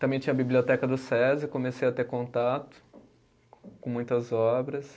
Também tinha a biblioteca do Sesi, comecei a ter contato com muitas obras.